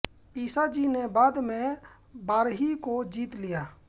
ईसाजी ने बाद में वारही को जीत लिया